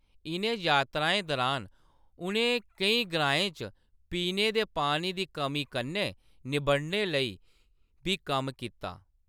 इʼनें यात्राएं दरान उʼनें केईं ग्राएं च पीने दे पानी दी कमी कन्नै निब्बड़ने लेई बी कम्म कीता।